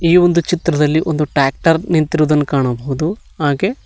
ಈ ಒಂದು ಚಿತ್ರದಲ್ಲಿ ಒಂದು ಟ್ರ್ಯಾಕ್ಟರ್ ನಿಂತಿರುವುದನ್ನು ಕಾಣಬಹುದು ಹಾಗೆ--